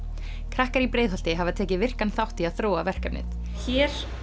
krakkar í Breiðholti hafa tekið virkan þátt í að þróa verkefnið hér